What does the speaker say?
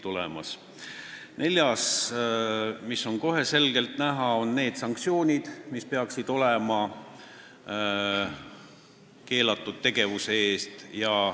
Neljandaks peaksid olema kohe selgelt näha sanktsioonid keelatud tegevuse eest.